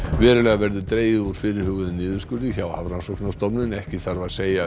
verulega verður dregið úr fyrirhuguðum niðurskurði hjá Hafrannsóknastofnun ekki þarf að segja